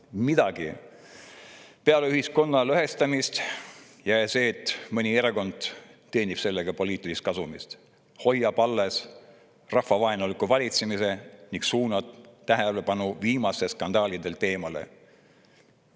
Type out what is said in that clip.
Mitte midagi peale ühiskonna lõhestamise ja selle, et mõni erakond teenib sellega poliitilist kasumit, hoiab alles oma rahvavaenuliku valitsemise ning suunab tähelepanu skandaalidelt eemale.